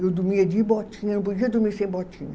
Eu dormia de botinha, não podia dormir sem botinha.